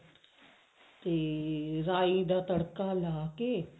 ਤੇ ਰਾਈ ਦਾ ਤੜਕਾ ਲਾ ਕੇ